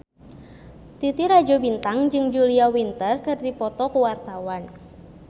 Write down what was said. Titi Rajo Bintang jeung Julia Winter keur dipoto ku wartawan